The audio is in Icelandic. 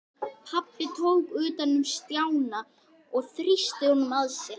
Pabbi tók utan um Stjána og þrýsti honum að sér.